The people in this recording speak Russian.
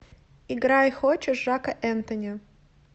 играй хочешь жака энтони